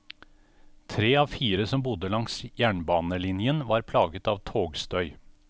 Tre av fire som bodde langs jernbanelinjen, var plaget av togstøy.